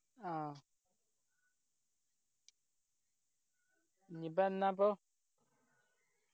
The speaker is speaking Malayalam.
ആ ഇനി ഇപ്പൊ എന്നാപ്പോ